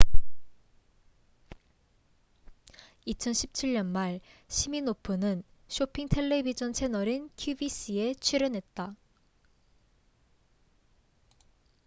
2017년 말 시미노프는 쇼핑 텔레비젼 채널인 qvc에 출연했다